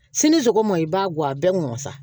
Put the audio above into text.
Sini sɔgɔma i b'a guwan a bɛɛ mɔn sa